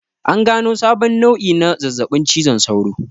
An gano sabon nau'i na zazzaɓin cizon sauro